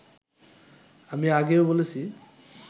আমি আগেও বলেছি